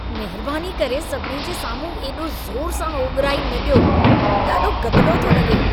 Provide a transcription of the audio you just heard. महिरबानी करे सभिनी जे साम्हूं एॾो ज़ोर सां ओॻिराई न ॾियो। ॾाढो गदिलो थो लॻे।